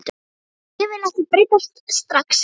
Og ég vil ekki breytast strax.